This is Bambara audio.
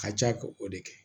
Ka ca k'o de kɛ